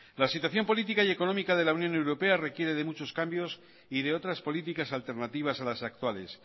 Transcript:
la situación política y económica de la unión europea requiere de muchos cambios y de otras políticas alternativas a las actuales